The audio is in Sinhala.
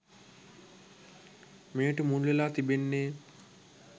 මෙයට මුල්වෙලා තිබෙන්නේ.